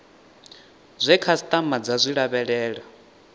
zwe khasitama dza zwi lavhelela